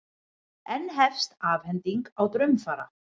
Enn tefst afhending á draumfara